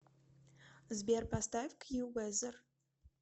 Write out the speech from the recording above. сбер поставь кьювезер